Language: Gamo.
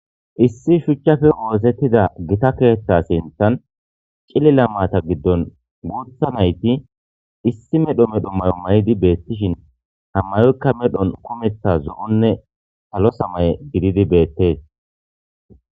Issi shuchappe othetida Gita ketha sinthan cilila Mata gidon bootha nayt issi medho medho mayo mayid betishn ha mayoyka medhon kumetha zo'onne salo samaye gidid betes.